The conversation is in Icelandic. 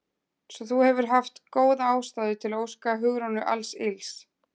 Svo þú hefur haft góða ástæðu til að óska Hugrúnu alls ills?